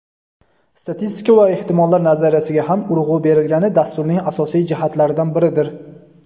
Statistika va ehtimollar nazariyasiga ham urg‘u berilgani dasturning asosiy jihatlaridan biridir.